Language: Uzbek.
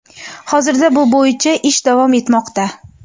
Hozirda bu bo‘yicha ish davom etmoqda.